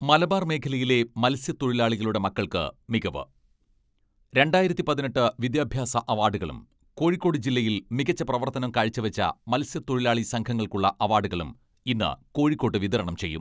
മലബാർ മേഖലയിലെ മത്സ്യത്തൊഴിലാളികളുടെ മക്കൾക്ക് മികവ്, രണ്ടായിരത്തി പതിനെട്ട് വിദ്യാഭ്യാസ അവാഡുകളും കോഴിക്കോട് ജില്ലയിൽ മികച്ച പ്രവർത്തനം കാഴ്ചവെച്ച മത്സ്യത്തൊഴിലാളി സംഘങ്ങൾക്കുള്ള അവാഡുകളും ഇന്ന് കോഴിക്കോട്ട് വിതരണം ചെയ്യും.